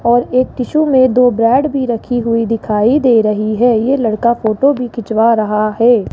और एक टिशू में दो ब्रेड भी रखी हुई दिखाई दे रही है ये लड़का फोटो भी खिंचवा रहा है।